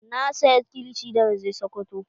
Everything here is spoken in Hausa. Na saya kilishi da na je sokoto